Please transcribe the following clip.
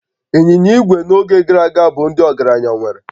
Ịnyịnya igwe n'oge gara aga bụ ndị ọgaranya nwere